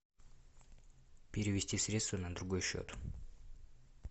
перевести средства на другой счет